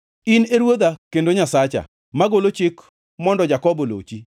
In e Ruodha kendo Nyasacha, magolo chik mondo Jakobo olochi.